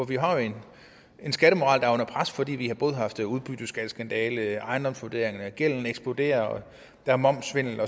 vi har jo en skattemoral der er under pres fordi vi både har haft udbytteskatkandale ejendomsvurderinger gælden er eksploderet der er momssvindel